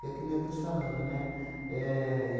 É que nem eu estou te falando, né? Éh